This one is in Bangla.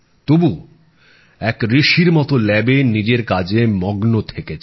তবু এক ঋষির মতো পরীক্ষাগারে নিজের কাজে মগ্ন থেকেছেন